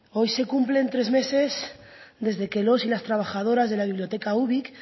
hoy se cumplen tres meses desde que los y las trabajadoras de la biblioteca ubik